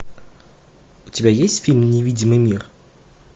у тебя есть фильм невидимый мир